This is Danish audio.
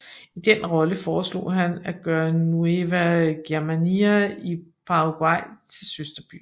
I den rolle foreslog han at gøre Nueva Germania i Paraguay til søsterby